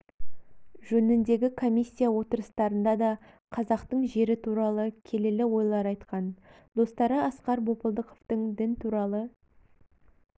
жөніндегі комиссия отырыстарында да қазақтың жері туралы келелі ойлар айтқан достары асқар бопылдықовтың дін туралы